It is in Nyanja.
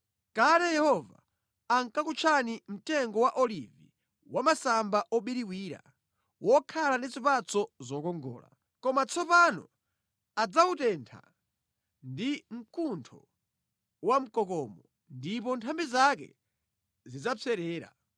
Kale Yehova ankakutchani mtengo wa olivi wa masamba obiriwira, wokhala ndi zipatso zokongola. Koma tsopano adzawutentha ndi mkuntho wamkokomo ndipo nthambi zake zidzapserera.